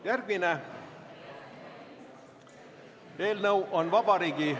Järgmine eelnõu on Vabariigi ...